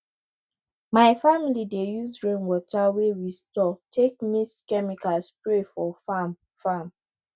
my family dey use rainwater wey we store take mix chemical spray for farm farm